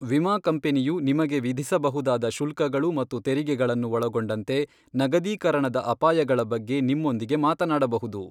ವಿಮಾ ಕಂಪನಿಯು ನಿಮಗೆ ವಿಧಿಸಬಹುದಾದ ಶುಲ್ಕಗಳು ಮತ್ತು ತೆರಿಗೆಗಳನ್ನು ಒಳಗೊಂಡಂತೆ ನಗದೀಕರಣದ ಅಪಾಯಗಳ ಬಗ್ಗೆ ನಿಮ್ಮೊಂದಿಗೆ ಮಾತನಾಡಬಹುದು.